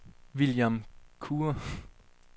William Kure